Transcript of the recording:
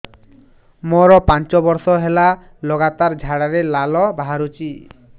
ମୋରୋ ପାଞ୍ଚ ବର୍ଷ ହେଲା ଲଗାତାର ଝାଡ଼ାରେ ଲାଳ ବାହାରୁଚି